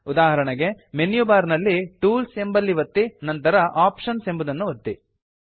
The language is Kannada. ಉದಾಹರಣೆಗೆ ಮೆನ್ಯು ಬಾರ್ ನಲ್ಲಿ ಟೂಲ್ಸ್ ಎಂಬಲ್ಲಿ ಒತ್ತಿ ನಂತರ ಆಪ್ಷನ್ಸ್ ಎಂಬುದನ್ನು ಒತ್ತಿ